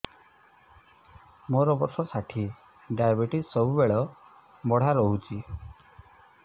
ମୋର ବର୍ଷ ଷାଠିଏ ଡାଏବେଟିସ ସବୁବେଳ ବଢ଼ା ରହୁଛି